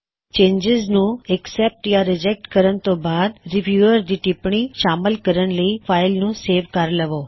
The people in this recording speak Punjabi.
ਚੇਨਜਿਜ਼ ਨੂੰ ਅਕ੍ਸੈਪਟ ਜਾਂ ਰਿਜੈਕਟ ਕਰਨ ਤੋਂ ਬਾਅਦ ਰੀਵਿਊਅਰ ਦੀ ਟਿਪਣੀ ਸ਼ਾਮਲ ਕਰਨ ਲਈ ਫਾਇਲ ਨੂੰ ਸੇਵ ਕਰ ਲਵੋ